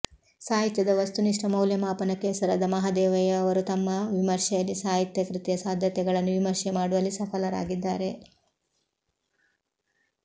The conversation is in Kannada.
ಸಾಹಿತ್ಯದ ವಸ್ತುನಿಷ್ಠ ಮೌಲ್ಯಮಾಪನಕ್ಕೆ ಹೆಸರಾದ ಮಹದೇವಯ್ಯ ಅವರು ತಮ್ಮ ವಿಮರ್ಶೆಯಲ್ಲಿ ಸಾಹಿತ್ಯ ಕೃತಿಯ ಸಾಧ್ಯತೆಗಳನ್ನು ವಿಮರ್ಶೆ ಮಾಡುವಲ್ಲಿ ಸಫಲರಾಗಿದ್ದಾರೆ